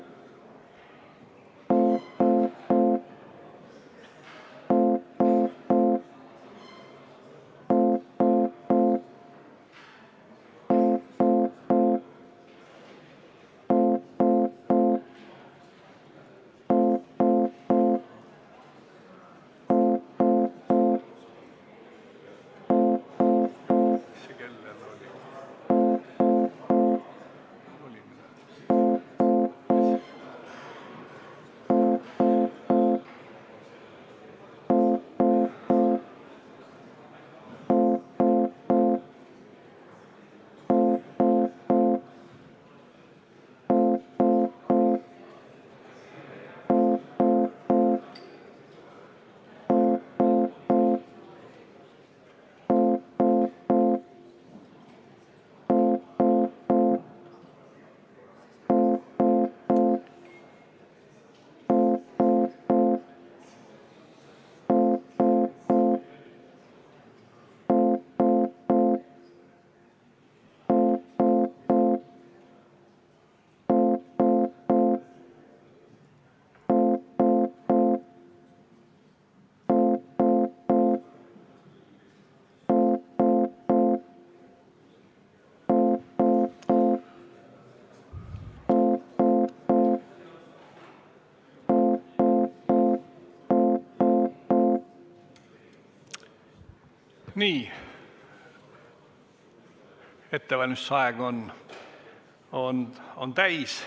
Nii, ettevalmistusaeg on täis.